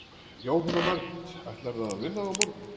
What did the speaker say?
Jóhanna Margrét: Ætlarðu að vinna á morgun?